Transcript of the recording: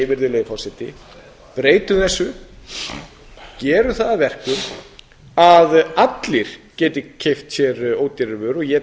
virðulegi forseti gerum það að verkum að allir geti keypt sér ódýrari vörur og ég tel raunar